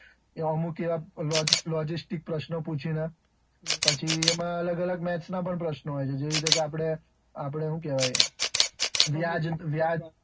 અમુક એવા logistics પ્રસ્નો પૂછી ને પછી એમાં અલગ અલગ maths ના પ્રસ્નો પણ હોય છે જેવા કે વ્યાજ,